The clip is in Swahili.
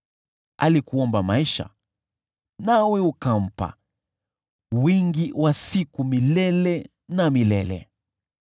Alikuomba maisha, nawe ukampa, wingi wa siku milele na milele.